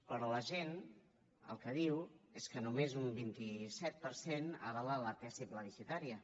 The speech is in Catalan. però la gent el que diu és que només un vint set per cent avala la tesi plebiscitària